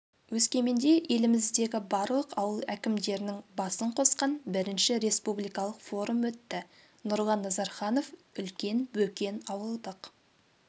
өскеменде еліміздегі барлық ауыл әкімдерінің басын қосқан бірінші республикалық форум өтті нұрлан назарханов үлкен бөкен ауылдық